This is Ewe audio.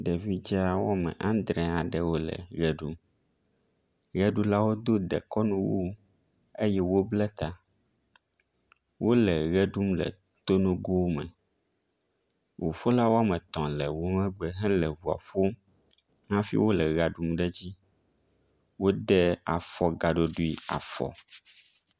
Ɖevi dza wɔme andre wo le ʋe ɖum. Ʋeɖula wodo dekɔnu wu eye wobble ta. Wo le ʋe ɖum e tonogo me. Ŋuƒola wɔme etɔ̃ le wo megbe hele ŋua ƒom hafi wo le ʋea ɖum ɖe edzi. Wode afɔ gaɖoɖui afɔ.